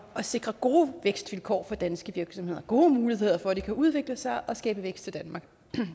at sikre gode vækstvilkår for danske virksomheder gode muligheder for at de kan udvikle sig og skabe vækst til danmark